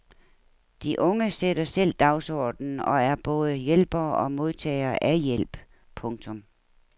De unge sætter selv dagsordenen og er både hjælpere og modtagere af hjælp. punktum